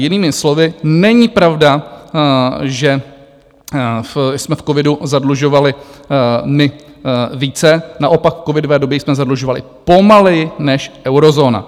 Jinými slovy, není pravda, že jsme v covidu zadlužovali my více, naopak v covidové době jsme zadlužovali pomaleji než eurozóna.